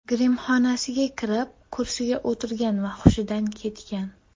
Grimxonasiga kirib, kursiga o‘tirgan va hushidan ketgan.